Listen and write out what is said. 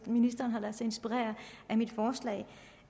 ministeren har ladet sig inspirere af mit forslag